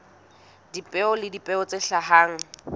dipeo le dipeo tse hlahang